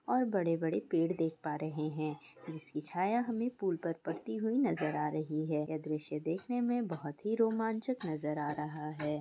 और बड़े-बड़े पेड़ देख पा रहे है जिसका छाया हमे पूल पर पड़ती हुई नजर आ रही है यह दृश्य देखने में बोहोत ही रोमांचक नजर आ रहा हैं।